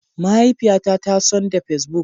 Mahaifiyata ta son da Facebook.